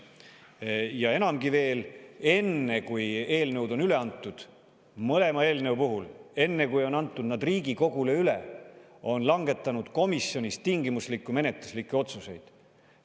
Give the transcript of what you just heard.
Ja enamgi veel, enne kui eelnõud on üle antud – mõlema eelnõu puhul, enne kui nad on Riigikogule üle antud –, on langetatud komisjonis tingimuslikke menetluslikke otsuseid.